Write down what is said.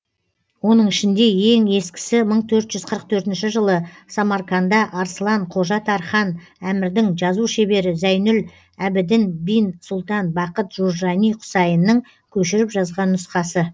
оның ішінде ең ескісі мың төрт жүз қырық төртінші жылы самарканда арсылан қожа тархан әмірдің жазу шебері зәйнүл әбідін бин сұлтан бақыт журжани құсайынның көшіріп жазған нұсқасы